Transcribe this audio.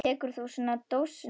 Tekur þú svo dósina aftur?